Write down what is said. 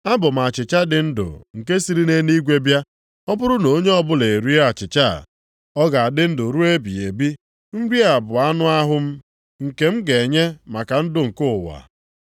Abụ m achịcha dị ndụ nke siri nʼeluigwe bịa. Ọ bụrụ na onye ọbụla erie achịcha a, ọ ga-adị ndụ ruo ebighị ebi. Nri a bụ anụ ahụ m, nke m ga-enye maka ndụ nke ụwa.”